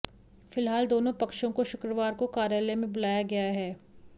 फिलहाल दोनों पक्षों को शुक्रवार को कार्यालय में बुलाया गया है